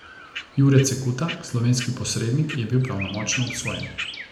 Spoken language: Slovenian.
Jure Cekuta, slovenski posrednik, je bil pravnomočno obsojen.